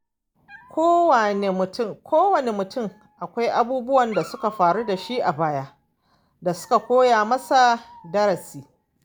Kowane mutum akwai abubuwan da suka faru da shi a baya da suka koya masa darasi.